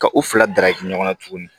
Ka u fila darakɛ ɲɔgɔnna tuguni